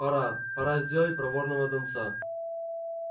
пора пора сделать проворного донца